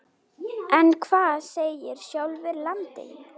En hvað segir sjálfur landinn?